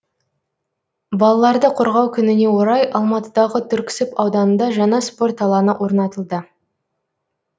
балаларды қорғау күніне орай алматыдағы түрксіб ауданында жаңа спорт алаңы орнатылды